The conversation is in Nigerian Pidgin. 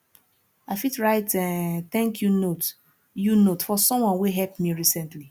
i fit write um thank you note you note for someone wey help me recently